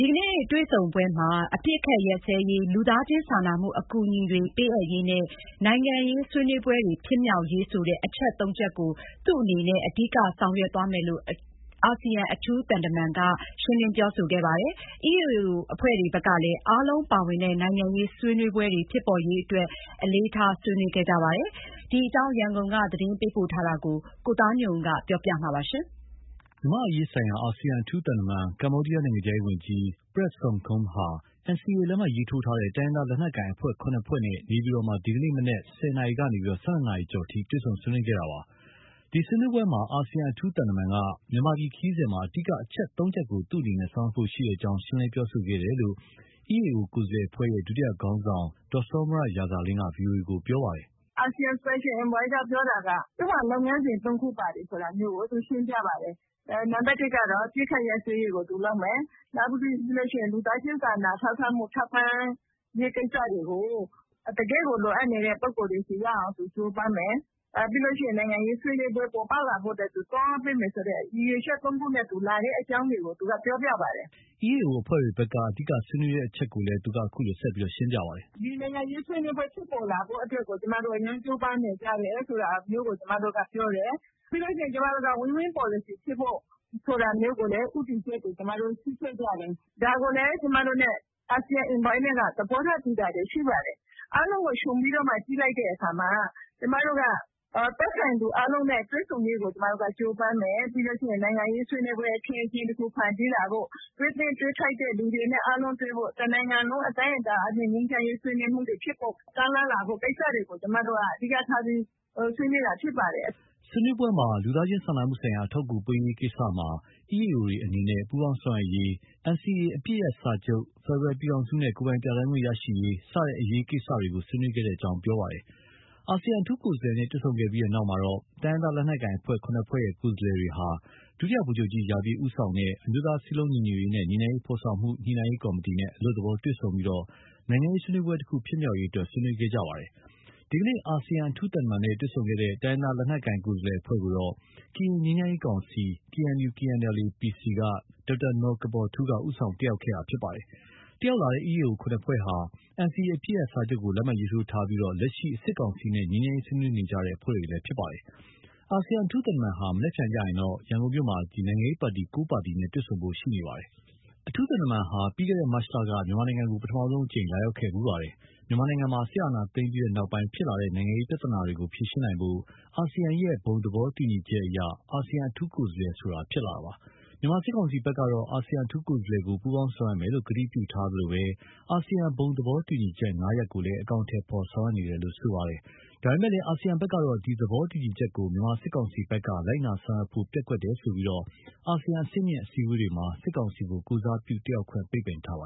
ီကနေ့ တွေ့ဆုံခဲ့ကြပါတယ်။ အပစ်အခတ်ရပ်စဲရေး၊ လူသားချင်းစာနာမှုအကူအညီတွေပေးအပ်ရေးနဲ့ နိုင်ငံရေးဆွေးနွေးပွဲဖြစ်မြောက်ရေး ဆိုတဲ့ အချက်သုံးချက်ကို သူ့အနေနဲ့ အဓိကထားဆောင်ရွက်သွားမယ်လို့ အာဆီယံအထူးသံက ရှင်းလင်းပြောဆိုပါတယ်။ EAO အဖွဲ့တွေဘက်ကလည်း အားလုံးပါဝင်တဲ့ နိုင်ငံရေးဆွေးနွေးပွဲဖြစ်ပေါ်ရေးအတွက် အလေးထား ဆွေးနွေးခဲ့ကြပါတယ်။ ဒီအကြောင်း ရန်ကုန်က သတင်းပေးပို့ထားတာကို ကိုသားညွန့်ဦးက တင်ပြပေးထားပါတယ်။ မြန်မာ့အရေးဆိုင်ရာ အာဆီယံအထူးသံတမန် ကမ္ဘောဒီးယား နိုင်ငံခြားရေးဝန်ကြီး Prak Sokhonn ဟာ NCA လက်မှတ်ထိုးထားတဲ့ တိုင်းရင်းသားလက်နက်ကိုင်အဖွဲ့၇ ဖွဲ့နဲ့ နေပြည်တော်မှာ ဒီကနေ့မနက် ၁၀ နာရီကနေ ၁၂ နာရီကျော်အထိ တွေ့ဆုံဆွေးနွေးခဲ့ကြတာပါ။ ဒီဆွေးနွေးပွဲမှာ အာဆီယံအထူးသံတမန်က မြန်မာပြည်ခရီးစဉ်မှာ အဓိကအချက် ၃ ချက်ကို ဆောင်ရွက်ဖို့ရှိကြောင်း ရှင်းလင်းခဲ့တယ်လို့ EAO ကိုယ်စားလှယ်အဖွဲ့ရဲ့ ဒုတိယခေါင်းဆောင် ဒေါ်စောမြရာဇာလင်းက VOA ကို ပြောပါတယ်။ “ Asean Special Envoy က ပြောတာက သူ့မှာ လုပ်ငန်းစဉ် ၃ ခုပါတယ်ဆိုတာကို သူရှင်းပြပါတယ်။ နံပါတ်တစ်ကတော့ အပစ်အခတ်ရပ်စဲရေးကို သူလုပ်မယ်။ နောက်ပြီးရင် လူသားချင်းစာနာ ထောက်ထားမှု ထောက်ပံ့ရေးကိစ္စတွေကို တကယ့်ကို လိုအပ်နေတဲ့ ပုဂ္ဂိုလ်တွေဆီ ရောက်အောင် သူကြိုးပမ်းမယ်။ ပြီးလို့ရှိရင် နိုင်ငံရေးဆွေးနွေးပွဲပေါ်ပေါက်လာဖို့အတွက် သူသွားပေးမယ်ဆိုတဲ့ ရည်ရွယ်ချက် ၃ ခုနဲ့ လာတဲ့အကြောင်းတွေကို သူက ပြောပြပါတယ်။” EAO အဖွဲ့တွေဘက်က အဓိက ဆွေးနွေးတဲ့အချက်ကိုလည်း အခုလို ဆက်ပြောပါတယ်။ “ ကျမတို့ဘက်ကလည်း ဒီနိုင်ငံရေးဆွေးနွေးပွဲဖြစ်ပေါ်လာရေးကို အရမ်းကြိုးပမ်းနေကြတယ် ဆိုတာမျိုးကို ကျမတို့က ပြောတယ်။ ပြီးလို့ရှိရင် ကျမတို့က Win- Win ပေါ်လစီ ဖြစ်ဖို့ဆိုတာမျိုး ကိုလည်း ဦးတည်ချက်တွေ ရှိခဲ့ကြတယ်။ ဒါကိုလည်း ကျမတို့နဲ့ Asean Envoy တို့ သဘောထား တူတာတွေ ရှိပါတယ်။ အားလုံးကို ခြုံပြီးတော့မှ ကြည့်လိုက်တဲ့အခါမှာ ကျမတို့က သက်ဆိုင်သူအားလုံးနဲ့ တွေ့ဆုံရေးကို ကျမတို့က ကြိုးပမ်းမယ်။ ပြီးလို့ရှိရင် နိုင်ငံရေးဆွေးနွေးပွဲ အခင်းအကျင်း တခု ဖန်တီးလာဖို့ တွေ့သင့်၊ တွေ့ထိုက်တဲ့သူတွေနဲ့ အားလုံးတွေ့ဖို့၊ တနိုင်ငံလုံးအတိုင်းအတာနဲ့ ငြိမ်းချမ်းရေးဆွေးနွေးပွဲတွေ ဖြစ်ပေါ် ကမ်းလှမ်းလာဖို့ ကိစ္စတွေကို ကျမတို့က အဓိက ထားပြီး ဆွေးနွေးတာဖြစ်ပါတယ်။” ဆွေးနွေးပွဲမှာ လူသားချင်းစာနာမှုဆိုင်ရာအထောက်အကူပေးရေးကိစ္စမှာ EAO တွေအနေနဲ့ ပူးပေါင်းဆောင်ရွက်ရေး၊ NCA အပစ်ရပ်စာချုပ်၊ ဖက်ဒရယ်ပြည်ထောင်စုနဲ့ ကိုယ်ပိုင်ပြဌာန်းခွင့် ရရှိရေး စတဲ့အရေးကိစ္စတွေကို ဆွေးနွေးခဲ့ကြောင်း ပြောပါတယ်။ အာဆီယံအထူးကိုယ်စားလှယ်နဲ့ တွေ့ဆုံပြီးတဲ့နောက်မှာတော့ တိုင်းရင်းသားလက်နက်ကိုင် ၇ ဖွဲ့ရဲ့ ကိုယ်စားလှယ်တွေဟာ ဒုတိယ ဗိုလ်ချုပ်ကြီး ရာပြည့်ဦးဆောင်တဲ့ အမျိုးသားစည်းလုံးညီညွတ်ရေးနဲ့ ငြိမ်းချမ်းရေး ဖော်ဆောင်မှု ညှိနှိုင်းရေးကော် မတီနဲ့ အလွတ်သဘောတွေ့ဆုံပြီး နိုင်ငံရေးဆွေးနွေးပွဲတခု ဖြစ်မြောက်ရေးအတွက် ဆွေးနွေးခဲ့ပါတယ်။ ဒီနေ့ အာဆီယံ အထူးသံတမန်နဲ့ တွေ့ဆုံခဲ့တဲ့ တိုင်းရင်းသား လက်နက်ကိုင်ကိုယ် စားလှယ်အဖွဲ့ကို ကရင် ငြိမ်းချမ်းရေးကောင်စီ KNU/KNLA- PC က ဒေါက်တာနော်ကပေါ်ထူးက ဦးဆောင်တက်ရောက်ခဲ့တာဖြစ်ပါတယ်။ တက်ရောက်လာတဲ့ EAO ၇ ဖွဲ့ဟာ NCA အပစ်ရပ်စာချုပ်ကို လက်မှတ် ရေးထိုးထားပြီး လက်ရှိ စစ်ကောင်စီနဲ့ ငြိမ်းချမ်းရေးဆွေးနွေးနေတဲ့ အဖွဲ့တွေလည်း ဖြစ်ပါတယ်။ အာဆီယံအထူးသံတမန်ဟာ မနက်ဖြန်မှာတော့ ရန်ကုန်မြို့မှာ နိုင်ငံရေးပါတီ ၉ ပါတီနဲ့ တွေ့ဆုံဖို့ ရှိနေပါတယ်။ အထူးသံတမန်ဟာ ပြီးခဲ့တဲ့မတ်လက မြန်မာပြည်ကို ပထမဆုံးအကြိမ်လာရောက်ခဲ့ဖူးပါတယ်။ မြန်မာနိုင်ငံမှာ စစ်အာဏာသိမ်းပြီးနောက်ဖြစ်လာတဲ့ နိုင်ငံရေးပြဿနာတွေကို ဖြေရှင်းနိုင်ဖို့ အာဆီယံရဲ့ ဘုံသဘောတူညီချက်အရ အာဆီယံအထူးကိုယ်စားလှယ်ဆိုတာဖြစ်လာတာပါ။ မြန်မာစစ်ကောင်စီဘက်ကတော့ အာဆီယံအထူးကိုယ်စားလှယ်ကို ပူးပေါင်းဆောင်ရွက်မယ်လို့ ကတိပြုထားသလို အာဆီယံ ဘုံသဘောတူညီချက် ၅ ရပ်ကိုလည်း အကောင်အထည်ဖော်ဆောင်ရွက်နေတယ်လို့ဆိုနေပါတယ်။ ဒါပေမယ့်လည်း အာဆီယံဘက်ကတော့ ဒီသဘောတူညီချက်ကို မြန်မာစစ်ကောင်စီဘက်က လိုက်နာဆောင်ရွက်ဖို့ ပျက်ကွယ်တယ်ဆိုပြီး အာဆီယံအဆင့်မြင့်အစည်းအဝေးတွေမှာ စစ်ကောင်စီကို ကိုယ်စားပြုတတ်ရောက်ခွင့် ပိတ်ပင်ထားပါ